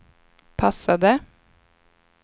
passade